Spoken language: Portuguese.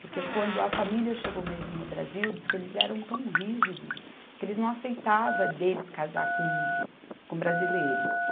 Porque quando a família chegou mesmo no Brasil, diz que eles eram tão rígidos, que eles não aceitavam deles casar com, com brasileiro.